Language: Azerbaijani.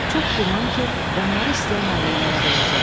çox güman ki, onları istəyən ailələrə verəcəklər.